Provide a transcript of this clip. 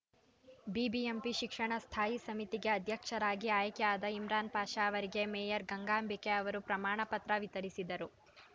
BBMP ಶಿಕ್ಷಣ ಸ್ಥಾಯಿ ಸಮಿತಿಗೆ ಅಧ್ಯಕ್ಷರಾಗಿ ಆಯ್ಕೆಯಾದ ಇಮ್ರಾನ್‌ ಪಾಷಾ ಅವರಿಗೆ ಮೇಯರ್‌ ಗಂಗಾಂಬಿಕೆ ಅವರು ಪ್ರಮಾಣ ಪತ್ರ ವಿತರಿಸಿದರು